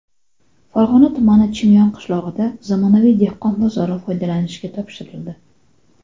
Farg‘ona tumani Chimyon qishlog‘ida zamonaviy dehqon bozori foydalanishga topshirildi.